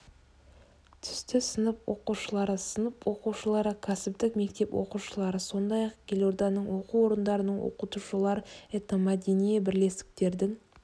түсті сынып оқушылары сынып оқушылары кәсіптік мектеп оқушылары сондай-ақ елорданың оқу орындарының оқытушылары этномәдени бірлестіктердің